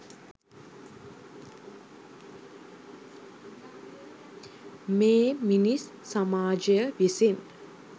මේ මිනිස් සමාජය විසින්